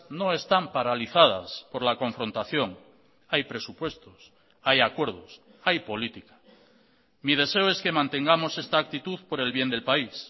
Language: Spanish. no están paralizadas por la confrontación hay presupuestos hay acuerdos hay política mi deseo es que mantengamos esta actitud por el bien del país